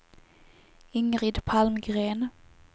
Ingrid Palmgren